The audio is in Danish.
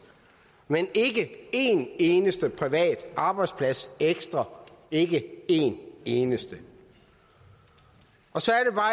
men ikke en eneste privat arbejdsplads ekstra ikke en eneste og så